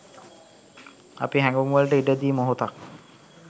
අපි හැඟුම්වලට ඉඩ දී මොහොතක්